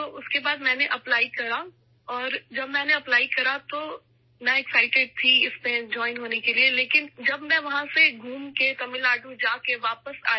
چنانچہ اس کے بعد میں نے اپلائی کیا اور جب میں نے اپلائی کیا تو میں اس میں شامل ہونے کے لیے پرجوش تھی لیکن جب وہاں سے گھوم کر تمل ناڈو جاکر واپس آئی